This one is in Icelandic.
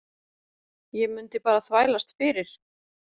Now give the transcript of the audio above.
Ég mundi bara þvælast fyrir.